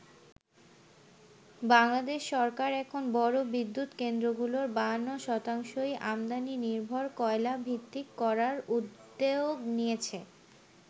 বাংলাদেশ সরকার এখন বড় বিদ্যুৎ কেন্দ্রগুলোর ৫২শতাংশই আমদানি নির্ভর কয়লাভিত্তিক করার উদ্যোগ নিয়েছে।